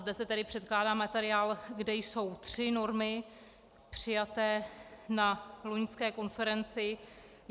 Zde se tedy předkládá materiál, kde jsou tři normy přijaté na loňské konferenci.